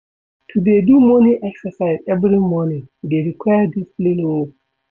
To dey do morning exercise every morning dey require discipline o.